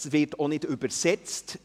» Es wird auch nicht übersetzt.